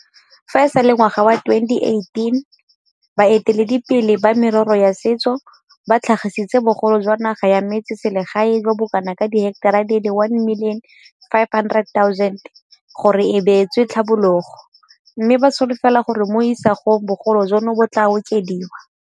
Fa e sale ngwaga wa 2018, baeteledipele ba merero ya setso ba tlhagisitse bogolo jwa naga ya metsese legae jo bo kanaka diheketara di le 1 500 000 gore e beetswe tlhabologo, mme ba solofela gore mo isagong bogolo jono bo tla okediwa.